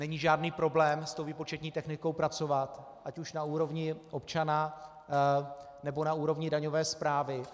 Není žádný problém s tou výpočetní technikou pracovat ať už na úrovni občana, nebo na úrovni daňové správy.